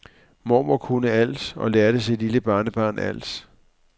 Mormor kunne alt og lærte sit lille barnebarn alt.